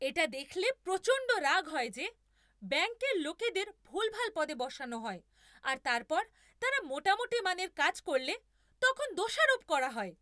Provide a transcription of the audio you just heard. এটা দেখলে প্রচণ্ড রাগ হয় যে ব্যাংকের লোকেদের ভুলভাল পদে বসানো হয়, আর তারপর তারা মোটামুটি মানের কাজ করলে তখন দোষারোপ করা হয়।